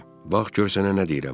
Bax gör sənə nə deyirəm.